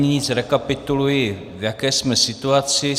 Nyní zrekapituluji, v jaké jsme situaci.